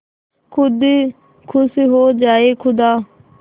खुद खुश हो जाए खुदा